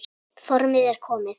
Formið er komið!